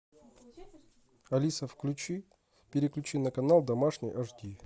алиса включи переключи на канал домашний аш ди